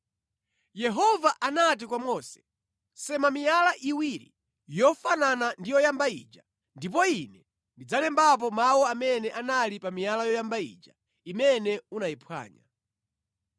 Yehova anati kwa Mose, “Sema miyala iwiri yofanana ndi yoyamba ija, ndipo Ine ndidzalembapo mawu amene anali pa miyala yoyamba ija, imene unayiphwanya.